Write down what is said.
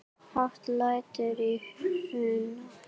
Hátt lætur í Hruna